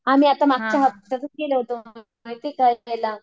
आम्ही आता मागच्या हफ्त्यातच गेलो होतो माहिती का फिरायला.